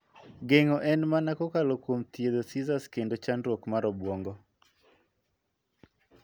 Geng'o en mana kokalo kuom thietho seizures kedo chandruok mar obuonngo.